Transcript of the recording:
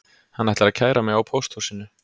Hann ætlar að kæra mig á pósthúsinu